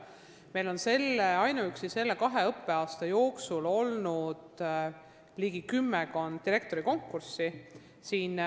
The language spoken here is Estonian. Meil on ainuüksi selle peaaegu kahe õppeaasta jooksul olnud ligi kümmekond direktorikonkurssi.